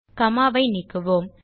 gamma ஐ நீக்குவோம்